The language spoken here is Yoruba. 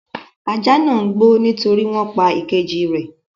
Ajá náà ń gbó nítorí wọn pa ìkejì rẹ̀.